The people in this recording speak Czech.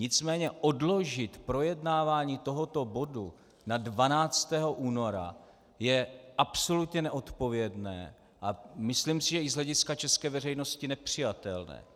Nicméně odložit projednávání tohoto bodu na 12. února je absolutně nezodpovědné a myslím si, že i z hlediska české veřejnosti nepřijatelné.